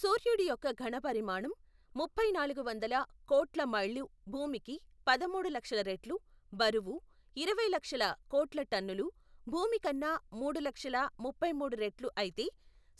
సూర్యుడి యొక్క ఘనపరిమాణం, ముప్పైనాలుగువందల, కోట్ల మైళ్ళు, భూమికి, పదమూడు లక్షల రెట్లు, బరువు, ఇరవై లక్షల, కోట్ల టన్నులు, భూమికన్నా, మూడు లక్షల, ముప్పైమూడు రెట్లు, అయితే,